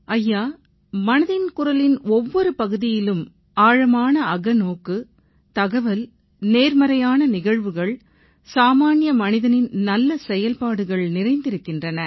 ஐயா மனதின் குரலின் ஒவ்வொரு பகுதியிலும் ஆழமான அகநோக்கு தகவல் நேர்மறையான நிகழ்வுகள் சாமான்ய மனிதனின் நல்ல செயல்பாடுகள் நிறைந்திருக்கின்றன